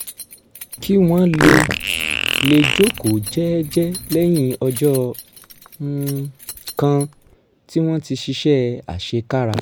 kí wọ́n lè lè jókòó jẹ́ẹ́jẹ́ẹ́ lẹ́yìn ọjọ́ um kan tí wọ́n ti ṣiṣẹ́ àṣekára